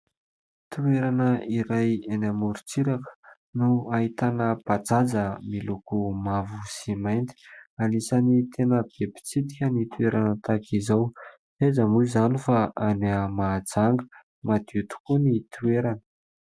Toerana iray eny amorontsiraka no ahitana bajaja miloko mavo sy mainty. Anisany tena be mpitsidika ny toerana tahaka izao ; tsy aiza moa izany fa any Mahajanga madio tokoa ny toerana.